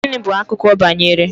Gịnị bụ akụkọ banyere?